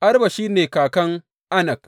Arba shi ne kakan Anak.